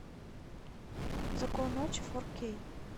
закон ночи фор кей